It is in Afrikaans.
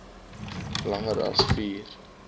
langer as vier